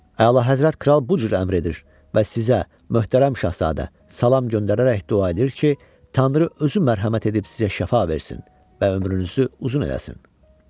Əla Həzrət kral bu cür əmr edir və sizə möhtərəm şahzadə salam göndərərək dua edir ki, Tanrı özü mərhəmət edib sizə şəfa versin və ömrünüzü uzun eləsin.